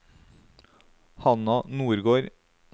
Hanna Nordgård